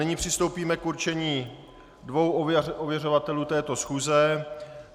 Nyní přistoupíme k určení dvou ověřovatelů této schůze.